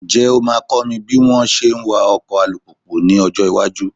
Ǹjẹ́ o máa kọ́ mi bí wọ́n ṣe ń wá ọkọ alùpùpù ní ọjọ́ iwájú?